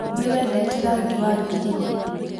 Nĩwendete rangi wa ngirini.